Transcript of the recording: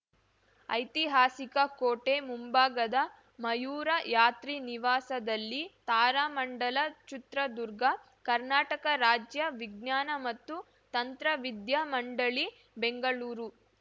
ಐತಿಹಾಸಿಕ ಕೋಟೆ ಮುಂಭಾಗದ ಮಯೂರ ಯಾತ್ರಿನಿವಾಸದಲ್ಲಿ ತಾರಾಮಂಡಲ ಚಿತ್ರದುರ್ಗ ಕರ್ನಾಟಕ ರಾಜ್ಯ ವಿಜ್ಞಾನ ಮತ್ತು ತಂತ್ರವಿದ್ಯಾ ಮಂಡಳಿ ಬೆಂಗಳೂರು